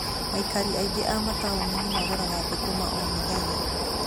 Aikari aingĩ a mataũni magũraga thũkũma o mũthenya.